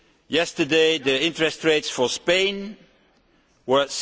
Yesterday the interest rates for Spain were